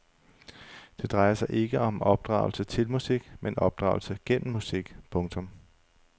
Det drejer sig ikke om opdragelse til musik men opdragelse gennem musik. punktum